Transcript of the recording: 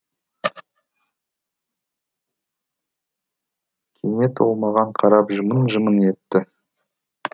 кенет ол маған қарап жымың жымың етті